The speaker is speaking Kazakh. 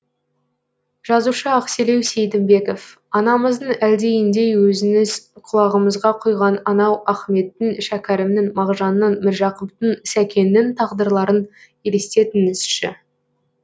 жазушы ақселеу сейдімбеков анамыздың әлдиіндей өзіңіз құлағымызға құйған анау ахметтің шәкәрімнің мағжанның міржақыптың сәкеннің тағдырларын елестетіңізші